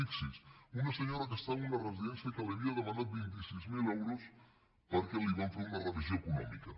fixis’hi una senyora que està en una residència que li havien demanat vint sis mil euros perquè li van fer una revisió econòmica